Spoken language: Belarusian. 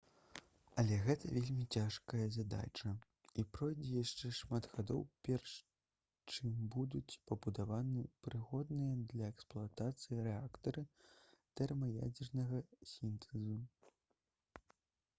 але гэта вельмі цяжкая задача і пройдзе яшчэ шмат гадоў перш чым будуць пабудаваны прыгодныя для эксплуатацыі рэактары тэрмаядзернага сінтэзу